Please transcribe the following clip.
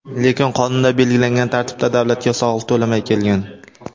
Lekin qonunda belgilangan tartibda davlatga soliq to‘lamay kelgan.